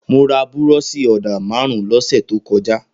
Mo ra búrọ́ṣì-ọ̀dà márùn-ún lọ́sẹ̀ tó kọjá.